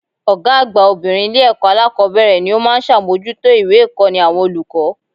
Ògá àgbà obìnrin Ilé èkó alákòbéèrè ni ó má a n sàmójútó ìwé ìkóni àwọn olùkó